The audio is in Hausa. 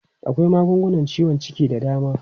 Akwai magungunan ciwon ciki da dama.